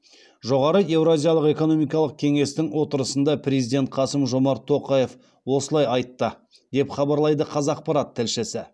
жоғары еуразиялық экономикалық кеңестің отырысында президент қасым жомарт тоқаев осылай айтты деп хабарлайды қазақпарат тілшісі